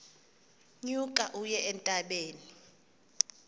nyuka uye entabeni